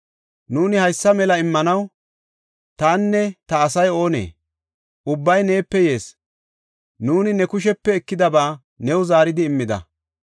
“Nuuni haysa mela immanaw tanne ta asay oonee? Ubbay neepe yees; nuuni ne kushepe ekidaba new zaaridi immida.